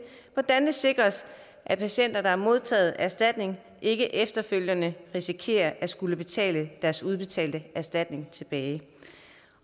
hvordan det sikres at patienter der har modtaget erstatning ikke efterfølgende risikerer at skulle betale deres udbetalte erstatning tilbage